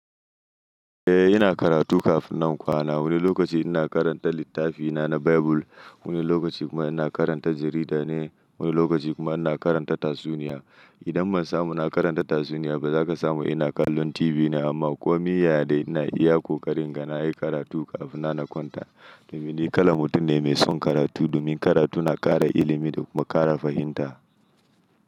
Eh ina karatu kafin nan kwana. Wani lokaci ina karanta littafina na Bible, wani lokaci kuma ina karanta jarida ne, wani lokaci kuma ina karanta tatsuniya. Idan ban samu ina karanta tatsuniya ba za ka samu ina kallon TV ne amma komi yaya dai ina iya kokari in ga na yi karatu kafin nan na kwanta. Domin ni kalan mutum ne mai son karatu domin karatu na ƙara ilimi da kuma ƙara fahimta.